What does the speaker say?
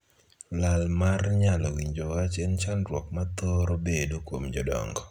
Lal mar nyalo winjo wach en chandruok ma thoro bet kuom jodongo.